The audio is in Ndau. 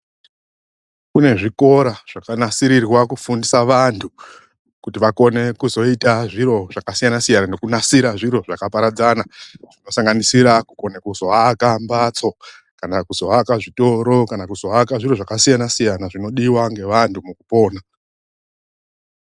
Kune zvikora zvakanasirirwa kufundisa vanthu kuti vakone kuzoita zviro zvakasiyana siyana nekunasira zviro zvakaparadzana zvinosanganisira kukone kuzoaka mbatso, kana kuzoaka zvitoro, kana kuzoaka zvakasiyana siyana zvinodiwa ngevanthu mukupona.